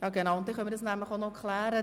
Ich möchte noch kurz etwas klären: